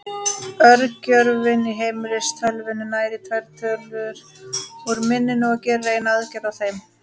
Örgjörvinn í heimilistölvunni nær í tvær tölur úr minninu og gerir eina aðgerð á þeim.